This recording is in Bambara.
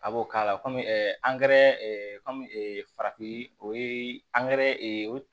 A b'o k'a la kɔmi angɛrɛ kɔmi farafin o ye ee